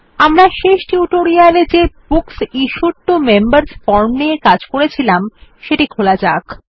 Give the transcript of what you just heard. আমরা শেষ টিউটোরিয়ালে যে books issued to members form নিয়ে কাজ করেছিলাম সেটি খোলা যাক